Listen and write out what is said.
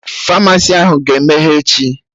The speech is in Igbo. Famasi ahụ ga-emeghe echi?